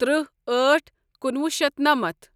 تٕرٛہ أٹھ کُنوُہ شیتھ نمتھ